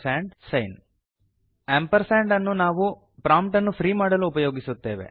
ampersand amp ಅನ್ನು ನಾವು prompt ಅನ್ನು ಫ್ರೀ ಮಾಡಲು ಉಪಯೋಗಿಸುತ್ತೇವೆ